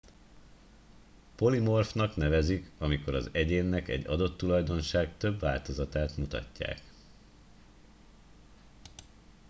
polimorfnak nevezik amikor az egyének egy adott tulajdonság több változatát mutatják